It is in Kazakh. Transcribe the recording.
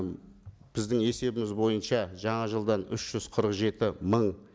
біздің есебіміз бойынша жаңа жылдан үш жүз қырық жеті мың